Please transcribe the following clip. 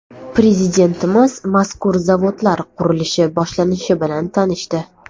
Prezidentimiz mazkur zavodlar qurilishi boshlanishi bilan tanishdi.